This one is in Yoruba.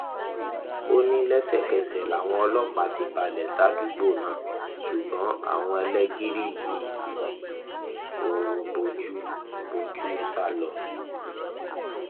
ó ní lẹsẹkẹsẹ làwọn ọlọpàá ti balẹ sádùúgbò náà ṣùgbọn àwọn ẹlẹgìrì yìí ti fi òru bojú bojú sá lọ